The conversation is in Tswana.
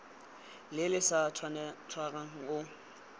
le le sa tshwarang o